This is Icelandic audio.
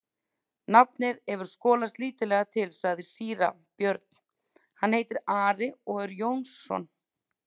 Nafnið hefur skolast lítillega til, sagði síra Björn,-hann heitir Ari og er Jónsson.